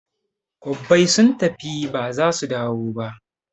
Kwabbai sun tafi ba zasu dawo ba